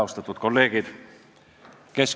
Austatud kolleegid!